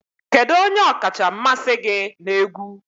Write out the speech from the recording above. Kedu onye ọkacha mmasị gị na egwu?